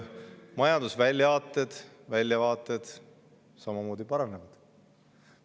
Eesti majandusväljavaated samamoodi paranevad.